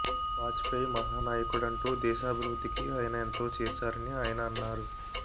వాజపేయి మహా నాయకుడంటూ దేశాభివృద్ధికి ఆయన ఎంతో చేశారని ఆయన అన్నారు